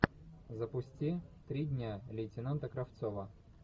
запусти три дня лейтенанта кравцова